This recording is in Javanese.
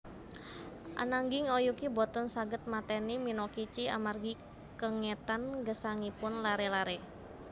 Ananging Oyuki boten saged mateni Minokichi amargi kengetan gesangipun laré laré